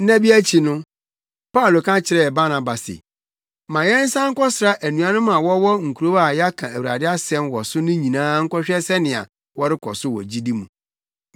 Nna bi akyi no, Paulo ka kyerɛɛ Barnaba se, “Ma yɛnsan nkɔsra anuanom a wɔwɔ nkurow a yɛaka Awurade asɛm wɔ so no nyinaa nkɔhwɛ sɛnea wɔrekɔ so wɔ gyidi mu.”